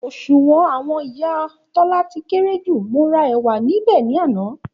Òṣùwọ̀n àwọn ìyá Tólá ti kéré ju, mo ra èwà níbè ní àná